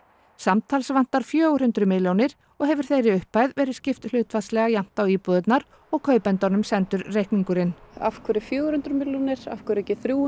samtals vantar fjögur hundruð milljónir og hefur þeirri upphæð verið skipt hlutfallslega jafnt á íbúðirnar og kaupendunum sendur reikningurinn af hverju fjögur hundruð milljónir af hverju ekki þrjú